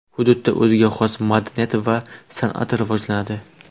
Hududda o‘ziga xos madaniyat va san’at rivojlanadi .